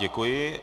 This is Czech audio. Děkuji.